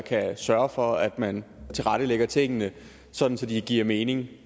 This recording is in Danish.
kan sørge for at man tilrettelægger tingene sådan at de giver mening